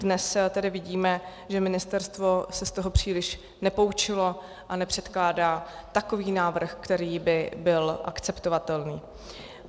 Dnes tedy vidíme, že ministerstvo se z toho příliš nepoučilo a nepředkládá takový návrh, který by byl akceptovatelný.